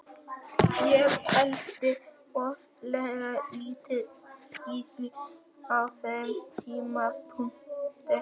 Ég pældi voðalega lítið í því á þeim tímapunkti.